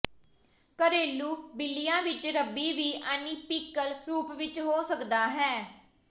ਘਰੇਲੂ ਬਿੱਲੀਆਂ ਵਿਚ ਰਬੀ ਵੀ ਅਨੀਪੀਕਲ ਰੂਪ ਵਿਚ ਹੋ ਸਕਦੇ ਹਨ